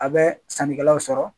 A bɛ sanni kɛlaw sɔrɔ.